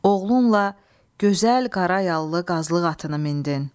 Oğlunla gözəl qarayağlı qazlıq atını mindin.